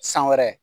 San wɛrɛ